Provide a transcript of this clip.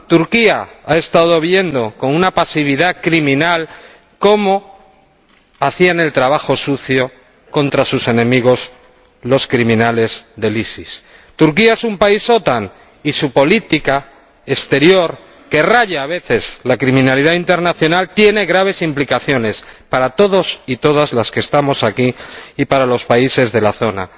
Turquía ha estado viendo con una pasividad criminal cómo hacían el trabajo sucio contra sus enemigos los criminales del EI. Turquía es un país de la OTAN y su política exterior, que raya a veces en la criminalidad internacional, tiene graves implicaciones para todos y todas los que estamos aquí y para los países de la zona.